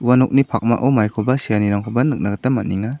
ua nokni pakmao maikoba se·anirangkoba nikna gita man·enga.